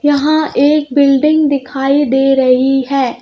यहां एक बिल्डिंग दिखाई दे रही है।